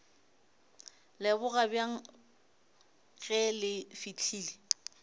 leboga bjang ge le fihlile